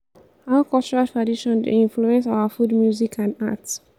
how cultural tradition dey influence our food music and art?